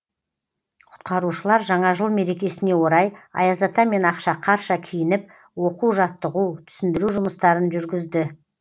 құтқарушылар жаңа жыл мерекесіне орай аяз ата мен ақшақарша киініп оқу жаттығу түсіндіру жұмыстарын жүргізді